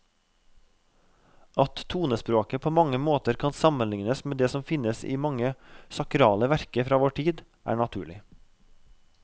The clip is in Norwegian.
At tonespråket på mange måter kan sammenlignes med det som finnes i mange sakrale verker fra vår tid, er naturlig.